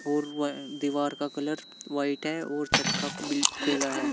और दीवार का कलर व्हाइट है और छत का है।